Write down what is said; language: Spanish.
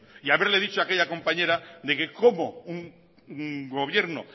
y haberle dicho a aquella compañera de que cómo un gobierno